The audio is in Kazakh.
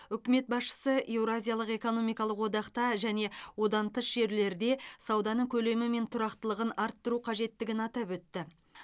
үкімет басшысы еуразиялық экономикалық одақта және одан тыс жерлерде сауданың көлемі мен тұрақтылығын арттыру қажеттігін атап өтті